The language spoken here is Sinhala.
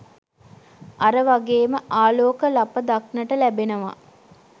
අර වගේම ආලෝක ලප දක්නට ලැබෙනවා.